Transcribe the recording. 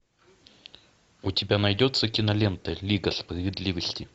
у тебя найдется кинолента лига справедливости